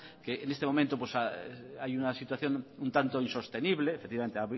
en este momento hay una situación un tanto insostenible efectivamente